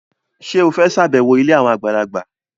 Ṣé o fẹ́ ṣàbẹ̀wọ̀ ilé àwọn àgbàlagbà?